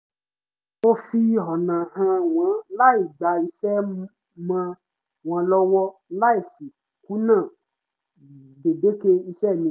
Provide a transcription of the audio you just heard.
mo fi ọ̀nà hàn wọ́n láì gba iṣẹ́ mọ́ wọn lọ́wọ́ láì sì kùnà gbèdéke iṣẹ́ mi